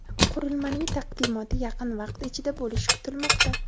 Qurilmaning taqdimoti yaqin vaqt ichida bo‘lishi kutilmoqda.